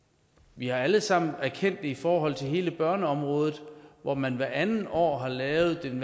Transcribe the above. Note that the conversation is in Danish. vi alle sammen erkendt i forhold til hele børneområdet hvor man hvert andet år har lavet en